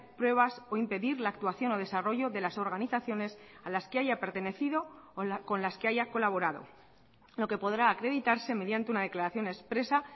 pruebas o impedir la actuación o desarrollo de las organizaciones a las que haya pertenecido o con las que haya colaborado lo que podrá acreditarse mediante una declaración expresa